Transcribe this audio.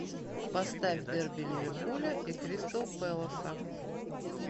поставь дерби ливерпуля и кристал пэласа